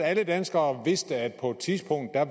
alle danskere vidste at der på et tidspunkt er